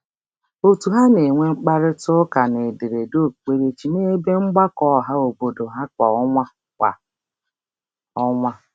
Òtù ha na-enwe mkparịtaụka n'ederede okpukperechi n'ebe mgbakọ ọhaobodo ha kwa ọnwa. kwa ọnwa.